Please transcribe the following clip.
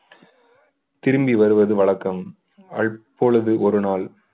திரும்பி வருவது வழக்கம் அப்பொழுது ஒரு நாள்